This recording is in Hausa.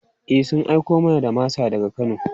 E, sun aiko mana da masa daga Kano.